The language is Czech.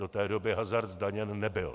Do té doby hazard zdaněn nebyl.